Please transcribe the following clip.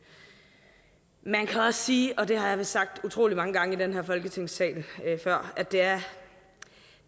man kan også sige og det har jeg vist sagt utrolig mange gange før i den her folketingssal at det er